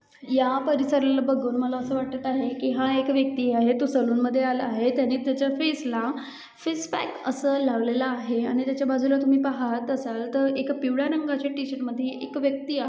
ह्या परिसराला बघून मला असे वाटत आहे कि हा एक व्यक्ती आहे तो सलून मध्ये आला आहे कि त्याच्या फेस ला फेस पॅक लावलेला आहे आणि त्याच्या बाजूला तुम्ही पाहाल असाल तर एका पिवळ्या रंगाच्या टी-शर्ट मध्ये एक व्यक्ती आहे.